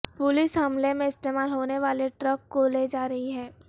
police حملے میں استعمال ہونے والے ٹرک کو لے جا رہی ہے